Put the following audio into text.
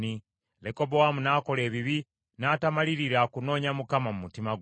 Lekobowaamu n’akola ebibi, n’atamalirira kunoonya Mukama mu mutima gwe.